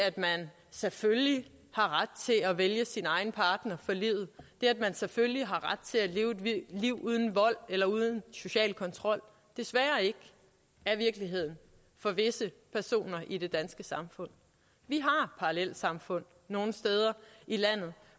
at man selvfølgelig har ret til at vælge sin egen partner for livet det at man selvfølgelig har ret til at leve et liv uden vold eller uden social kontrol desværre ikke er virkeligheden for visse personer i det danske samfund vi har parallelsamfund nogle steder i landet